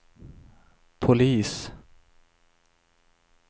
polis